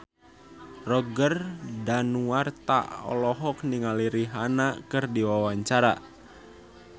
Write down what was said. Roger Danuarta olohok ningali Rihanna keur diwawancara